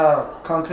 Bəli, bəli.